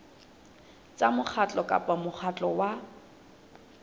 tsa mokgatlo kapa mokgatlo wa